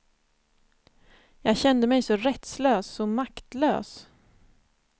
Jag kände mig så rättslös, så maktlös.